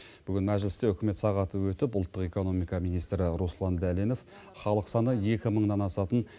бүгін мәжілісте үкімет сағаты өтіп ұлттық экономика министрі руслан дәленов халық саны екі мыңнан асатын